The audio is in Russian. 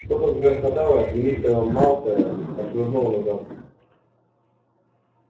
что-то загрохотало и мистера малфоя отшвырнуло назад